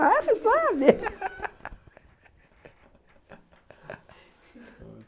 Ah, você sabe!